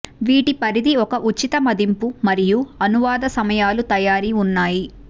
వీటి పరిధి ఒక ఉచిత మదింపు మరియు అనువాద సమయాలు తయారీ ఉన్నాయి